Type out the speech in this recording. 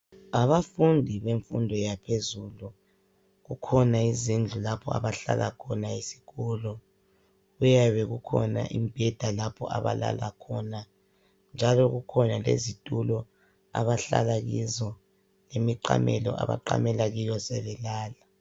Abafundi bemfundo yaphezulu kukhona izindlu lapho abahlala khona ezikolo. Kuyabe kukhona imibheda lapho abalala khona njalo kukhona izitulo abahlala kizo, imiqamelo abaqamela kiyo sebelala.